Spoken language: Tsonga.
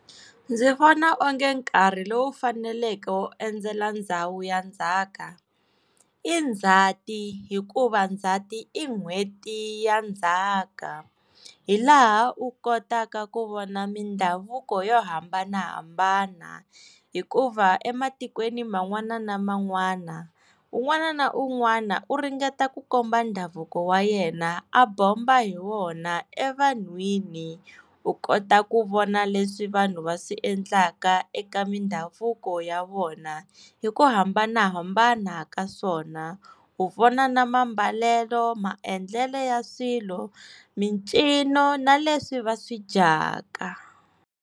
Ndzi vona onge nkarhi lowu faneleke wo endzela ndhawu ya ndzhaka i Ndzhati hikuva Ndzhati i n'hweti ya ndzhaka hi laha u kotaka ku vona mindhavuko yo hambanahambana hikuva ematikweni man'wana ni man'wana un'wana na un'wana u ringeta ku komba ndhavuko wa yena a bomba hi wona evanhwini u kota ku vona leswi vanhu va swi endlaka eka mindhavuko ya vona hi ku hambanahambana ka swona u vona na mambalelo maendlelo ya swilo mincino na leswi va swi dyaka.